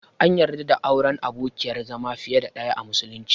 An yarda da auren abokin/abokiyar zama fiye da ɗaya a musulunci.